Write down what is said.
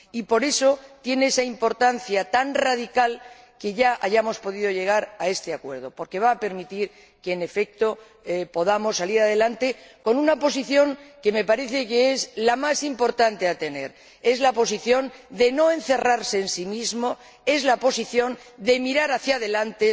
Y, por eso, tiene esa importancia tan radical el que ya hayamos podido llegar a este acuerdo, porque va a permitir que, en efecto, podamos salir adelante con una posición que me parece la más importante que se ha de mantener, la posición de no encerrarse en sí mismo, la posición de mirar hacia adelante,